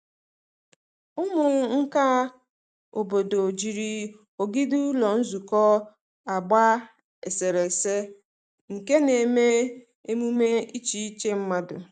Ụmụ nka obodo jiri ogidi ụlọ nzukọ agba eserese nke na-eme emume iche iche mmadụ.